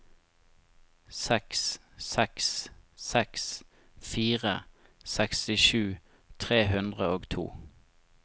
seks seks seks fire sekstisju tre hundre og to